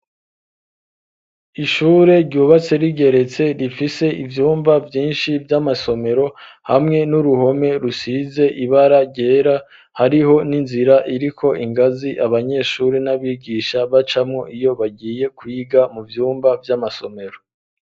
Ishure, ryubatse rigeretse ,rifise ivyumba vyinshi vy'amasomero ,hamwe n'uruhome rusize ibara ryera ,hariho n'inzira iriko ingazi abanyeshuri n'abigisha bacamwo, iyo bagiye kwiga mu vyumba vy'amasomero.